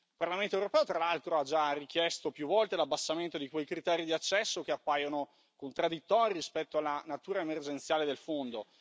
Il Parlamento europeo, tra l'altro, ha già richiesto più volte l'abbassamento di quei criteri di accesso che appaiono contraddittori rispetto alla natura emergenziale del Fondo.